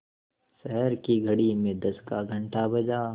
शहर की घड़ी में दस का घण्टा बजा